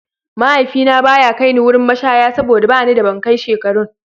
Mahaifina ba ya kai ni wurin mashaya saboda ba ni da ban kai shekarun.